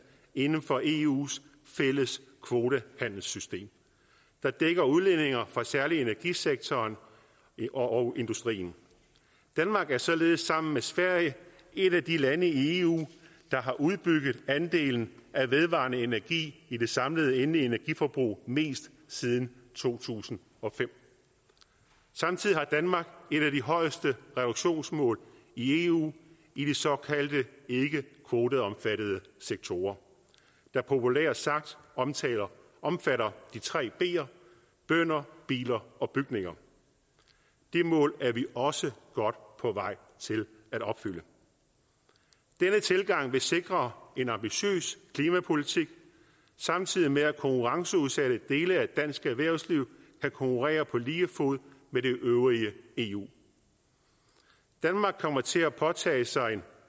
inden for eus fælles kvotehandelssystem der dækker udledninger fra særlig energisektoren og industrien danmark er således sammen med sverige et af de lande i eu der har udbygget andelen af vedvarende energi i det samlede endelige energiforbrug mest siden to tusind og fem samtidig har danmark et af de højeste reduktionsmål i eu i de såkaldte ikkekvoteomfattede sektorer der populært sagt omfatter de tre ber bønder biler og bygninger det mål er vi også godt på vej til at opfylde denne tilgang vil sikre en ambitiøs klimapolitik samtidig med at konkurrenceudsatte dele af dansk erhvervsliv kan konkurrere på lige fod med det øvrige eu danmark kommer til at påtage sig en